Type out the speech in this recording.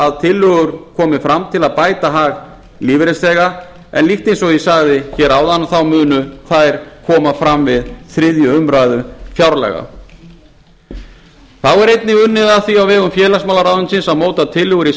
að fram komi tillögur til að bæta hag lífeyrisþega en líkt og ég sagði áðan munu þær koma fram við þriðju umræðu fjárlaga þá er einnig unnið að því á vegum félagsmálaráðuneytisins að móta tillögur í